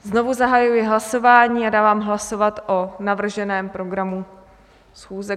Znovu zahajuji hlasování a dávám hlasovat o navrženém programu schůze.